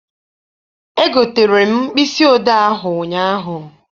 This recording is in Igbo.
Egotere m mkpịsị odee ahụ ụnyaahụ.